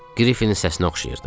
Qrifinin səsinə oxşayırdı.